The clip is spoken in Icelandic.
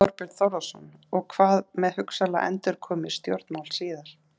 Þorbjörn Þórðarson: Og hvað með hugsanlega endurkomu í stjórnmál síðar?